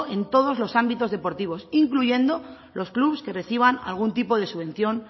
en todos los ámbitos deportivos incluyendo los clubs que reciban alguna tipo de subvención